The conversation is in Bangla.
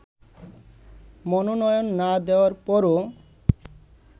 মনোনয়ন না দেয়ার পরও